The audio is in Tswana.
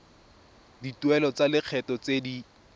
dituelo tsa lekgetho tse di